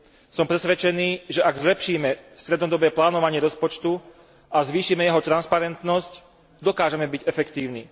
Som presvedčený, že ak zlepšíme strednodobé plánovanie rozpočtu a zvýšime jeho transparentnosť, dokážeme byť efektívni.